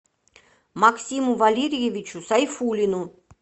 максиму валерьевичу сайфуллину